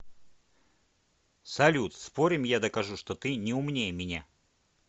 салют спорим я докажу что ты не умнее меня